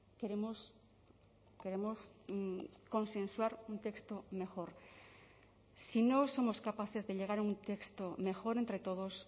queremos consensuar un texto mejor si no somos capaces de llegar a un texto mejor entre todos